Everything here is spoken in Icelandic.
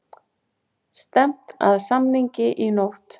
Stefnt að samningi í nótt